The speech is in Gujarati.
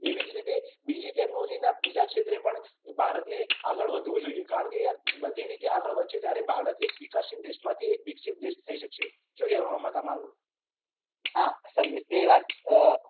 એવી જ રીતે બીજી ટેક્નોલોજીના બીજા ક્ષેત્રે પણ ભારતે આગળ વધવુ જોઈએ. કારણ કે યાર બધી રીતે આગળ વધીએ ત્યારે ભારત એક વિકાસશીલ દેશમાથી વિકસીત દેશ થઈ શકશે. શું કહેવુ આમાં તમારુ? હા એ વાત સાથે